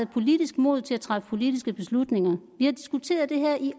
politisk mod til at træffe politiske beslutninger vi har diskuteret det her i